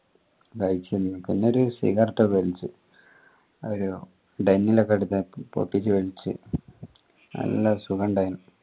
പിന്നെ ഒരു cigarette ഒക്കെ വെലിച് ലോക്കെ പൊട്ടിച് വെലിച് നല്ല സുഖഇണ്ടായിന്